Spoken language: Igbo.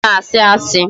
Ọ na-asị asị